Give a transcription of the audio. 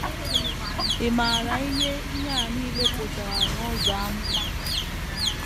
Ị̀ maara ihe ihe a nile pụtara n’ụzọ amụma?